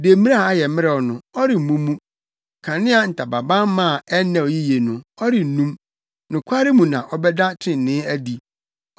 Demmire a ayɛ mmerɛw no, ɔremmu mu. Kanea ntamabamma a ɛnnɛw yiye no, ɔrennum. Nokware mu na ɔbɛda trenee adi;